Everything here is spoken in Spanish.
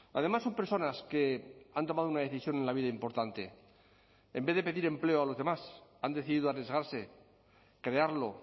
además son personas que han tomado una decisión en la vida importante en vez de pedir empleo a los demás han decidido arriesgarse crearlo